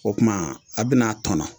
O tuma a bɛn'a tɔnɔ